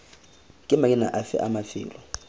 ke maina afe a mafelo